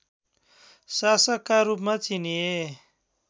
शासकका रूपमा चिनिए